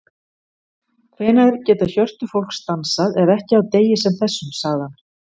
Hvenær geta hjörtu fólks dansað ef ekki á degi sem þessum, sagði hann.